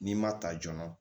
N'i ma ta joona